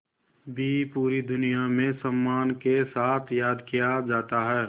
भी पूरी दुनिया में सम्मान के साथ याद किया जाता है